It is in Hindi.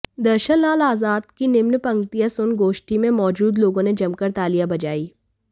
दर्शन लाल आजाद की निम्न पंक्तियां सुन गोष्ठी में मौजूद लोगों ने जमकर तालियां बजाईं